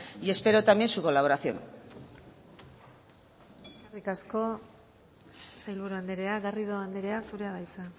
y espero también su colaboración eskerrik asko sailburu andrea garrido andrea zurea da hitza